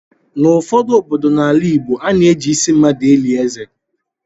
N'ụfọdụ obodo n'ala Igbo, ana eji ịsị mmadụ eli ézè.